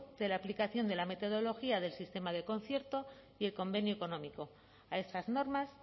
de la aplicación de la metodología del sistema del concierto y el convenio económico a estas normas